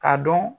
Ka dɔn